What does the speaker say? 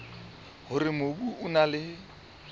hore mobu o na le